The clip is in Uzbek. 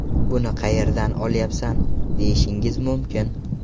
Buni qayerdan olyapsan, deyishingiz mumkin.